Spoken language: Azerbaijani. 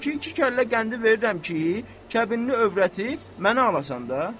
Ondan ötrü ki, iki kəllə qəndi verirəm ki, kəbinli övrəti mənə alasan da.